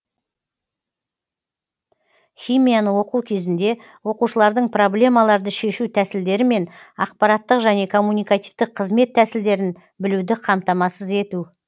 химияны оқу кезінде оқушылардың проблемаларды шешу тәсілдері мен ақпараттық және коммуникативтік қызмет тәсілдерін білуді қамтамасыз ету